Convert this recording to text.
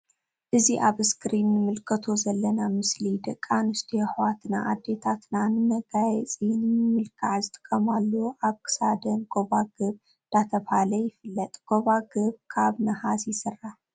እዚ ኣብ እስክሪን እንምልከቶ ዘለና ምስሊ ደቂ ኣንስትዮ ኣሕዋትና ኣዲታትና ንመጋየጺ ንምምልካዕ ዝጥቀማሉ ኣብ ክሳደን ጎባግብ ዳተብሃለ ይፍለጥ። ጎባግብ ካብ ንሃስ ይስራሕ።